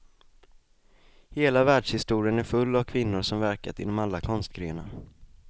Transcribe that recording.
Hela världshistorien är full av kvinnor som verkat inom alla konstgrenar.